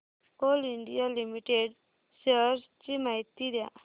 Coal India Limited shares ची माहिती द्या